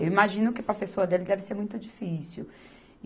Eu imagino que para a pessoa dele deve ser muito difícil.